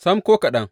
Sam, ko kaɗan!